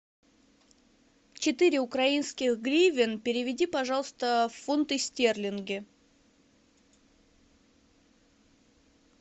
четыре украинских гривен переведи пожалуйста в фунты стерлинги